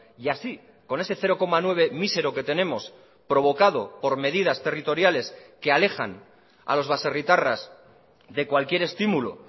y así con ese cero coma nueve mísero que tenemos provocado por medidas territoriales que alejan a los baserritarras de cualquier estímulo